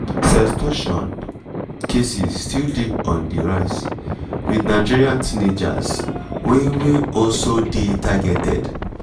sextortion cases still dey on di rise wit nigerian teenagers wey wey also dey targeted.